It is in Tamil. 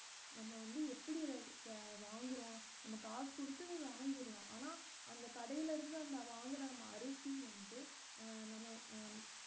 நம்ம வந்து எப்படி க~ வாங்குறோம் நம்ம காசு குடுத்து வாங்கிறலாம் ஆனா அந்த கடையில இருந்து அந்த வாங்குன அரிசி வந்து அஹ் நம்ம அஹ்